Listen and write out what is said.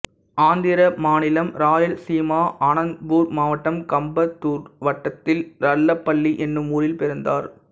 ஆந்திர மாநிலம் ராயல்சீமா அனந்தப்பூர் மாவட்டம் கம்பதூர் வட்டத்தில் ரள்ளபல்லி என்னும் ஊரில் பிறந்தார்